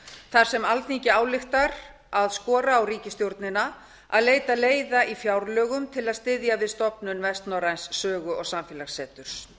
þar sem alþingi ályktar að skora á ríkisstjórnina að leita leiða í fjárlögum til að styðja viðstofnun vestnorræns sögu og samfélagsseturs